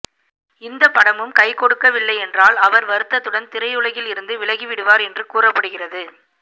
இந்த படமும் கைகொடுக்கவில்லை என்றால் அவர் வருத்தத்துடன் திரையுலகில் இருந்து விலகிவிடுவார் என்று கூறப்படுகிறது